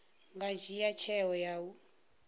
nga dzhia tsheo ya u